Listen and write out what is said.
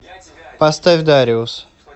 поставь дариус